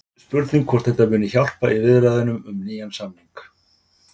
Spurning hvort þetta muni hjálpa í viðræðunum um nýjan samning?